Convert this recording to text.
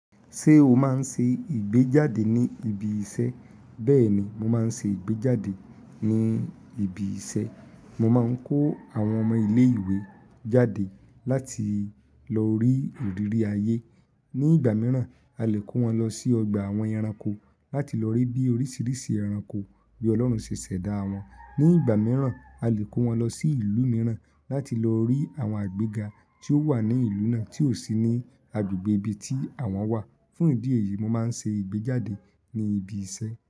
Ṣé o máa ń ṣe ìgbéjáde ní ibi iṣẹ́? Bẹ́ẹ̀ni, mo máa ń se ìgbéjáde ní ibi isẹ́. Mo máa ń kó àwọn ọmọ ilé ìwé jáde láti lọ rí irírì ayé. Ni ìgbà mìíràn, a lè kó wọn lọ sí ọgbà àwọn ẹranko láti lọ rí bí oríṣiríṣi ẹranko bí Ọlọ́run ṣe ṣẹ̀dá wọn. Ni ìgbà mìíràn, a lè kó wọn lọ sí ìlú mìíràn láti lọ rí àwọn agbega tí ó wà ní ìlú náà tí ò sí ní agbègbè ibi tí àwọn wà. Fún ìdí èyí, mo máa ń ṣe ìgbéjáde ní ibi iṣẹ́.